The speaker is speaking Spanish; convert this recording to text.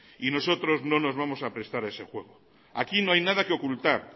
y nosotros no nos vamos a prestar a ese juego aquí no hay nada que ocultar